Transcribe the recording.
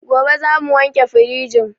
Gobe zamu wanke firijin